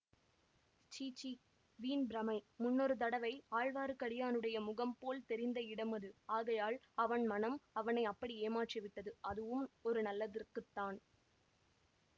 சீச்சீ வீண்பிரமை முன்னொரு தடவை ஆழ்வார்க்கடியானுடைய முகம் போல் தெரிந்த இடம் அது ஆகையால் அவன் மனம் அவனை அப்படி ஏமாற்றிவிட்டது அதுவும் ஒரு நல்லதற்குத்தான்